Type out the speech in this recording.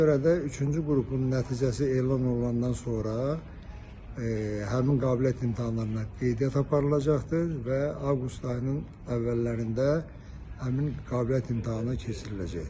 Ona görə də üçüncü qrupun nəticəsi elan olunandan sonra həmin qabiliyyət imtahanlarına qeydiyyat aparılacaqdır və avqust ayının əvvəllərində həmin qabiliyyət imtahanı keçiriləcəkdir.